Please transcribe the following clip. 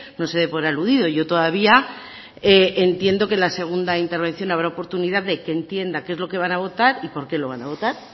no se dé por aludido yo todavía entiendo que la segunda intervención habrá oportunidad de que entienda qué es lo que van a votar y por qué lo van a votar